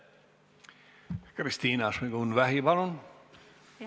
Kristina Šmigun-Vähi, palun!